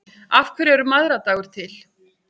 Af hverju er mæðradagur til?